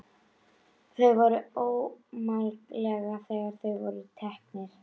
Þau voru ómálga þegar þau voru tekin.